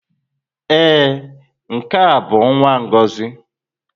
Ee, nke a bụ nwa Ngozi.